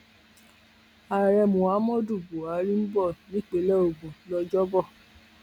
ààrẹ muhammadu buhari ń bọ nípínlẹ ogun lọjọbọ